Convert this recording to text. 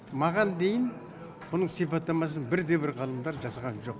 маған дейін бұның сипаттамасын бір де бір ғалымдар жасаған жоқ